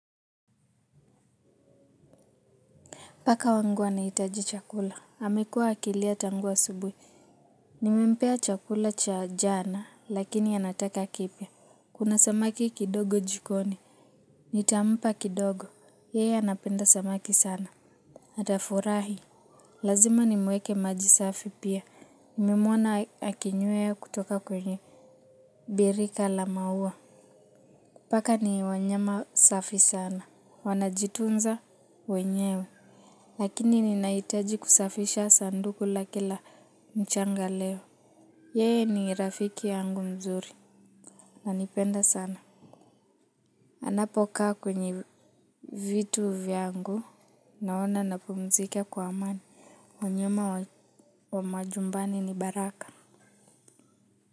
Paka wangu anahitaji chakula. Amekuwa akilia tangu asubuhi. Nimempea chakula cha jana, lakini anataka kipya. Kuna samaki kidogo jikoni. Nitampa kidogo. Yeye anapenda samaki sana. Atafyrahi lazima nimuekee maji safi pia. Nimemwana akinyue kutoka kwenye. Birika la maua. Paka ni wanyama safi sana. Wanajitunza wenyewe. Lakini ninahitaji kusafisha sanduku lake la mchanga leo. Yeye ni rafiki yangu mzuri ananipenda sana. Anapokaa kwenye vitu vyangu naona napumzika kwa amani wanyama wa majumbani ni wa baraka.